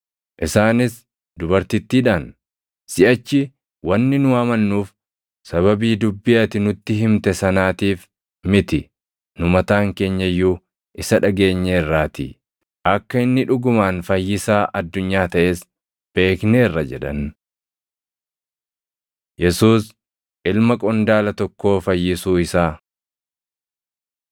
Isaanis dubartittiidhaan, “Siʼachi wanni nu amannuuf sababii dubbii ati nutti himte sanaatiif miti; nu mataan keenya iyyuu isa dhageenyeerraatii; akka inni dhugumaan Fayyisaa addunyaa taʼes beekneerra” jedhan. Yesuus Ilma Qondaala Tokkoo Fayyisuu Isaa